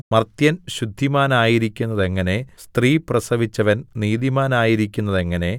മർത്യൻ ശുദ്ധിമാനായിരിക്കുന്നതെങ്ങനെ സ്ത്രീ പ്രസവിച്ചവൻ നീതിമാനായിരിക്കുന്നതെങ്ങനെ